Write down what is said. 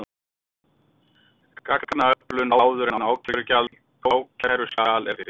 Gagnaöflun áður en ákæruskjal er birt